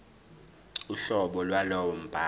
uhlobo lwalowo mbhalo